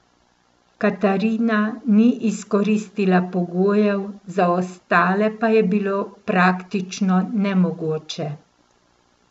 Katarina ni izkoristila pogojev, za ostale pa je bilo praktično nemogoče.